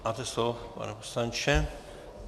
Máte slovo, pane poslanče.